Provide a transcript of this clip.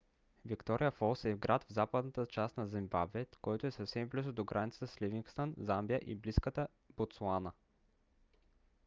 виктория фолс е град в западната част на зимбабве който е съвсем близо до границата с ливингстън замбия и близката ботсуана